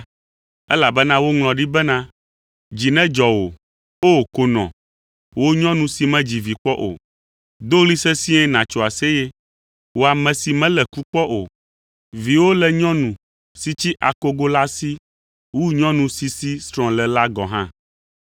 Elabena woŋlɔ ɖi bena, “Dzi nedzɔ wò, O konɔ, wò nyɔnu si medzi vi kpɔ o; do ɣli sesĩe nàtso aseye, wò ame si melé ku kpɔ o; viwo le nyɔnu si tsi akogo la si wu nyɔnu si si srɔ̃ le la gɔ̃ hã.”